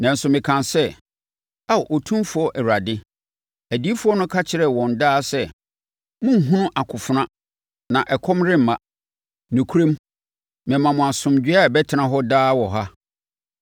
Nanso mekaa sɛ, “Ao, Otumfoɔ Awurade, adiyifoɔ no ka kyerɛ wɔn daa sɛ, ‘Monnhunu akofena na ɛkɔm remma. Nokorɛm mema mo asomdwoeɛ a ɛbɛtena hɔ daa wɔ ha.’ ”